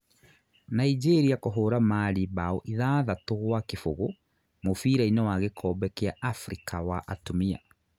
Nigeria kũhũũra Mali mbao ithathatu gwa kĩbũgũ mũbira-inĩ wa gikombe kia Africa wa atumia